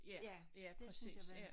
Ja ja præcis ja